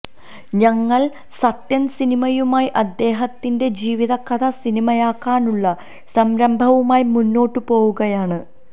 ഞങ്ങൾ സത്യൻ സിനിമയുമായി അദ്ദേഹത്തിന്റെ ജീവിത കഥ സിനിമയാക്കാനുള്ള സംരംഭവുമായി മുന്നോട്ടു പോവുകയാണ്